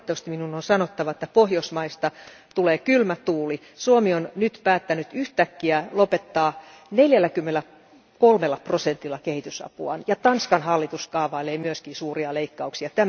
Valitettavasti minun on sanottava, että pohjoismaista puhaltaa kylmä tuuli Suomi on nyt päättänyt yhtäkkiä vähentää 43 prosentilla kehitysapuaan ja Tanskan hallitus kaavailee myös suuria leikkauksia.